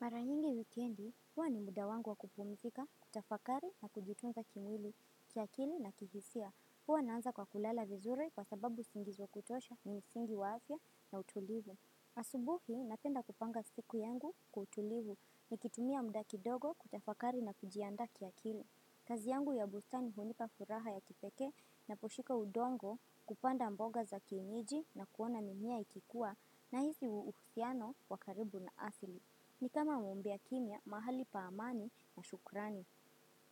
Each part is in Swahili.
Mara nyingi wikendi, huwa ni muda wangu wa kupumzika, kutafakari na kujitunza kimwili, kiakili na kihisia. Huwa naanza kwa kulala vizuri kwa sababu usingizi wa kutosha ni msingi wa afya na utulivu. Asubuhi, napenda kupanga siku yangu kwa utulivu nikitumia muda kidogo kutafakari na kujiandaa kiakili. Kazi yangu ya bustani nikuwa na raha ya kipekee na kushika odongo kupanda mboga za kienyeji na kuona mimea ikikua nahisi uhusiano wa karibu na asili. Ni kama ombi ya kimia, mahali pa amani na shukurani.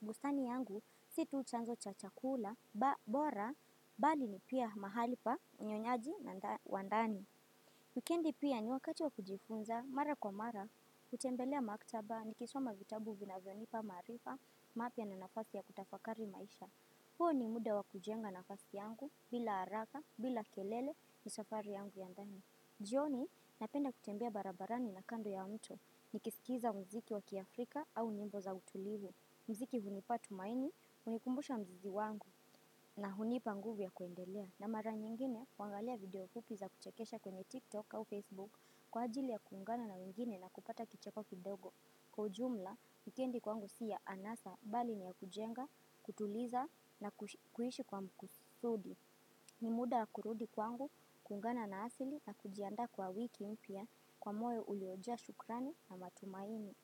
Bustani yangu, si tu chanzo cha chakula, bora, bali ni pia mahali pa unyonyaji wandani. Wikendi pia ni wakati wa kujifunza, mara kwa mara, kutembelea maktaba, nikisoma vitabu vinavyonipa maarifa, mapia na nafasi ya kutafakari maisha. Huo ni muda wa kujenga nafasi yangu, bila haraka, bila kelele ni safari yangu ya ndani. Jioni napenda kutembea barabarani na kando ya mto ni kisikiza mziki wakia Afrika au nyimbo za utulivu. Mziki hunipa tumaini, hunikumbusha mzizi wangu na hunipa nguvu ya kuendelea. Na mara nyingine, kwangalia video fupi za kuchekesha kwenye TikTok au Facebook kwa ajili ya kuungana na mingine na kupata kicheko kidogo. Kwa ujumla, wikendi kwangu si ya anasa bali ni ya kujenga, kutuliza na kuhishi kwa mkusudi. Ni muda wa kurudi kwangu, kuungana na asili na kujiandaa kwa wiki mpia kwa moyo uliojaa shukrani na matumaini.